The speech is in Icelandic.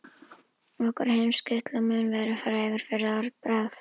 Okkar heimshluti mun vera frægur fyrir orðbragð.